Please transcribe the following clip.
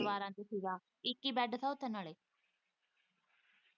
ਦੀਵਾਰਾਂ ਚ ਸੀਗਾ ਇੱਕ ਹੀ ਬੈਡ ਸਾਂ ਉੱਥੇ ਨਾਲ਼ੇ।